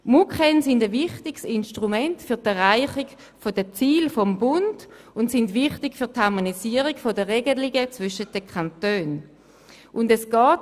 Die Sammlung der MuKEn ist ein wichtiges Instrument für die Erreichung der Ziele des Bundes, und sie ist für die Harmonisierung der Regelungen der Kantone wesentlich.